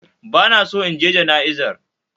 Bana so inje ja'izar